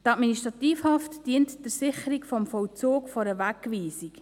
Die Administrativhaft dient der Sicherung des Vollzugs einer Wegweisung.